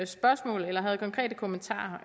spørgsmål eller havde konkrete kommentarer